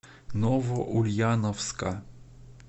новоульяновска